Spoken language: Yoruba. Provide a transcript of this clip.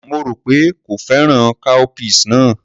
Mo rò pé kò fẹ́ràn cowpeas náà.